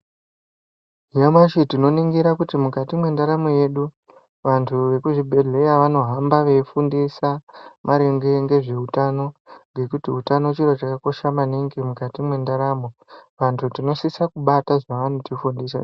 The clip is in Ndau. Nyamashi tinoningira kuti mukati mwendaramo yedu. Vantu vekuzvibhedhleya vanohamba veifundisa maringe ngezveutano, ngekuti utano chiro chakakosha maningi mwukati mwendaramo. Vantu tinosisa kubata zvavanotifundisa.